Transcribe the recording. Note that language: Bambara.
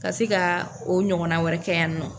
Ka se ka o ɲɔgɔnna wɛrɛ kɛ yan nɔ.